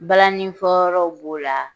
Balanifɔyɔrɔw b'o la